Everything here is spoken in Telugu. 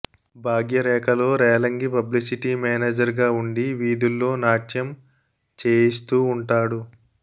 భాగ్యరేఖలో రేలంగి పబ్లిసిటీ మేనేజర్గా ఉండి వీధుల్లో నాట్యం చేయిస్తూ ఉంటాడు